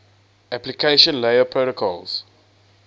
application layer protocols